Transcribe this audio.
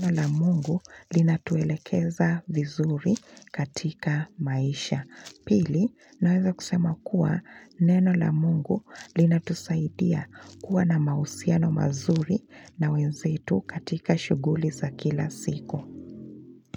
neno la mungu linatuwelekeza vizuri katika maisha. Pili na hizo kusema kuwa neno la mungu linatusaidia kuwa na mausiano mazuri na wenzetu katika shuguli za kila siku.